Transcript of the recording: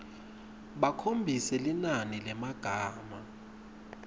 bakhombise linani lemagama